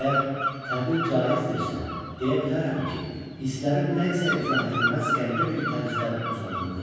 Əgər təbir caizdirsə, deyə bilərəm ki, hisslərim nə isə izah edilməz qəribə bir tərzdə uzanırdı.